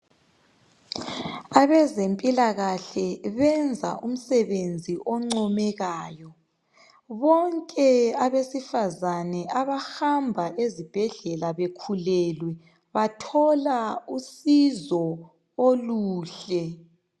Abezempilakahle benza umsebenzi oncomekayo. Bonke abesifazana abahamba ezibhedlela bekhulelwe bathola usizo oluhle.